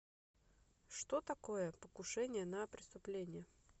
что такое покушение на преступление